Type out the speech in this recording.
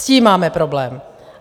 S tím máme problém.